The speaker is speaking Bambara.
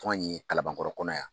Anw ye kalanbankɔrɔ kɔnɔ yan.